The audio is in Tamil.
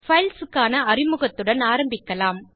பைல்ஸ் க்கான அறிமுகத்துடன் ஆரம்பிக்கலாம்